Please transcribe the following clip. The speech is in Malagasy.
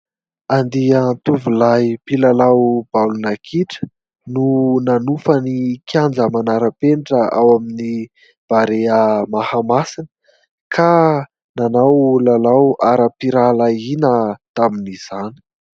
Andian-tovolahy mpilalao baolina kitra no nanofa ny kianja manara-penitra ao amin'ny Barea Mahamasina ka nanao lalao aram-pirahalahiana tamin'izany.